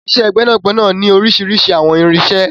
Iṣẹ́ gbẹ́nàgbẹnà ní oríṣiríṣi àwọn irinṣẹ́.